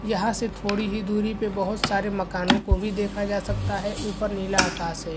यहाँ से थोड़ी ही दुरी पे बहोत सारे मकानो को भी देखा जा सकता है। ऊपर नीला आकाश है।